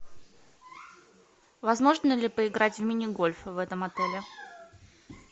возможно ли поиграть в мини гольф в этом отеле